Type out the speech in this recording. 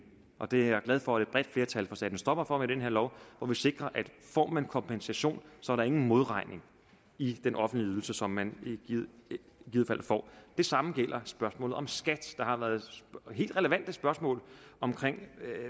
og det er jeg glad for at et bredt flertal får sat en stopper for med den her lov hvor vi sikrer at får man kompensation så er der ingen modregning i den offentlige ydelse som man i givet fald får det samme gælder spørgsmålet om skat der har været helt relevante spørgsmål om